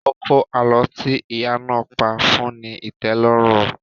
Kókó àlọ́ tí ìyá náà pá fún ní ìtẹ́lọ́rùn